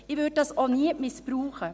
Ich würde das auch nie missbrauchen.